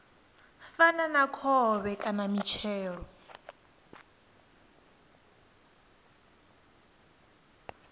fana na khovhe kana mitshelo